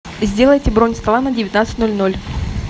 сделайте бронь стола на девятнадцать ноль ноль